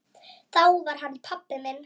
Þá var hann pabbi.